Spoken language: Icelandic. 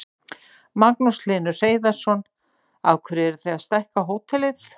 Magnús Hlynur Hreiðarsson: Af hverju eruð þið að stækka við hótelið?